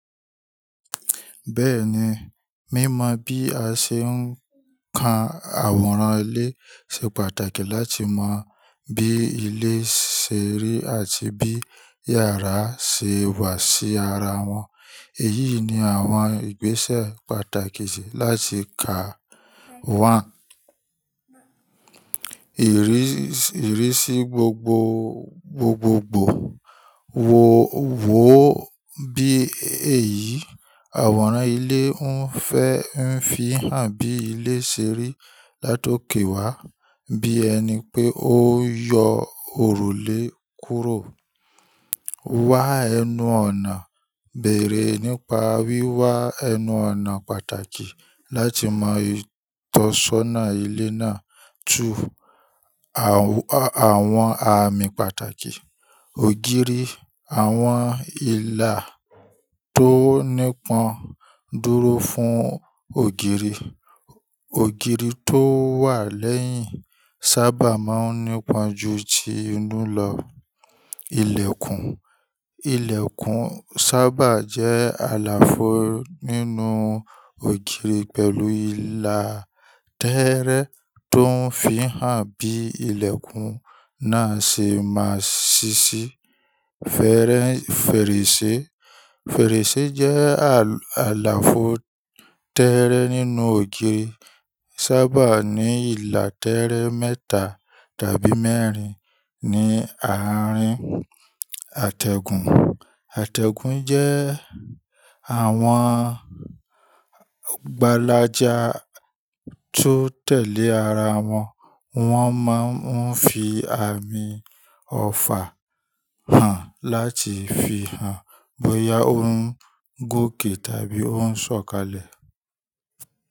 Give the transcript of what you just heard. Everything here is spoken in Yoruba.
Bẹ́ẹ̀ni, mímọ bí a ṣe ń ka àwòrán ilé ṣe pàtàkì láti mọ bí ilé ṣe rí àti bí yàrá ṣe wà sí ara wọn. Èyí ni àwọn ìgbésẹ̀ pàtàkì ṣe láti kà wáǹ. Ìrísí gbogbogbò wò ó bí èyí àwòrán ilé ń fẹ ń fi hàn bí ilé ṣe rí látòkè wá, bí ẹni pé ó ń yọ òrùlé kúrò. Wá ẹnu ọ̀nà: Bere nípa wíwá ẹnu ọ̀nà pàtàkì láti mọ ìtọ́sọ́nà ilé náà. Tu àwọn àmì pàtàkì. Ògiri: Àwọn ìlà tó nípọn dúró fún ògiri. Ògiri tó wà lẹ́yìn sábà máa ń nípọn ju ti inú lọ. Ilẹ̀kùn: Ilẹ̀kùn sábà jẹ́ àlàfo nínú ògiri pẹ̀lú ìlà tẹ́ẹ́rẹ́ tó ń fi hàn bí ilẹ̀kùn náà ṣe máa sísí. Fèrèsé: Fèrèsé jẹ́ àlàfo tẹ́ẹ́rẹ́ nínú ògiri, sábà ní ìlà tẹ́ẹ́rẹ́ mẹ́ta tàbí mẹ́rin ní àárín. Àtẹ̀gùn: Àtẹ̀gùn jẹ́ àwọn gbálájá tó tẹ̀lé ara wọn, wọ́n máa ń fi àmì ọfà hàn láti fi hàn bóyá ó ń gòkè tàbí ó ń sọ̀kalẹ̀.